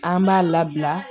An b'a labila